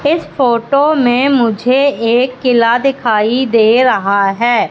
इस फोटो में मुझे एक किला दिखाई दे रहा है।